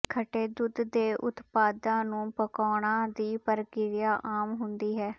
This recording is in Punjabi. ਖੱਟੇ ਦੁੱਧ ਦੇ ਉਤਪਾਦਾਂ ਨੂੰ ਪਕਾਉਣਾ ਦੀ ਪ੍ਰਕਿਰਿਆ ਆਮ ਹੁੰਦੀ ਹੈ